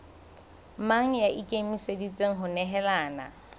mang ya ikemiseditseng ho nehelana